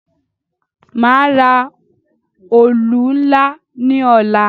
Màá ra òlù ńlá ní ọ̀la.